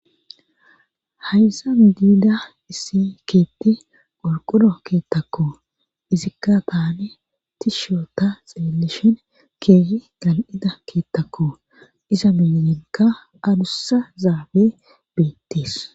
hayssa midiida issi keetti qorquro Keettakko izikka taane tishoota xilillishin keehi gan7ida keettakku iza minenka adussa zaabe beettis.